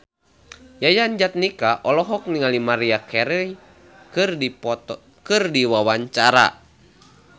Yayan Jatnika olohok ningali Maria Carey keur diwawancara